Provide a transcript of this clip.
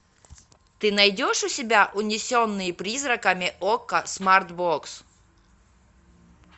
ты найдешь у себя унесенные призраками окко смарт бокс